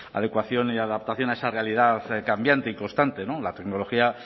adecuación y adaptación a esa realidad cambiante y constante la tecnología